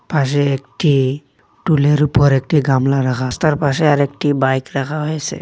পাশে একটি টুলের উপর একটি গামলা রাখা রাস্তার পাশে আরেকটি বাইক রাখা হয়েসে।